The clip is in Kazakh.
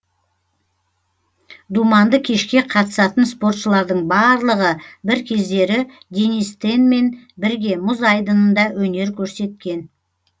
думанды кешке қатысатын спортшылардың барлығы бір кездері денис тенмен бірге мұз айдынында өнер көрсеткен